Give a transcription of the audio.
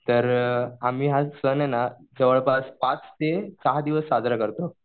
तर आम्ही हा सण आहे ना जवळपास पाच ते सहा दिवस साजरा करतो.